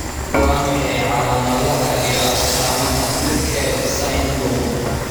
Waa maxay calaamadaha iyo astaamaha Tukel syndrome?